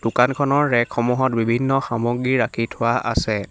দোকানখনৰ ৰেগসমূহত বিভিন্ন সামগ্ৰী ৰাখি থোৱা আছে।